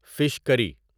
fish کری